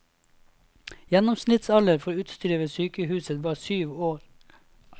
Gjennomsnittsalder for utstyret ved sykehuset var syv år.